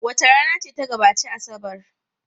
Wace rana ce ta gabaci Asabar?